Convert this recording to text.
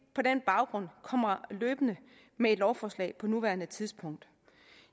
på den baggrund kommer løbende med et lovforslag på nuværende tidspunkt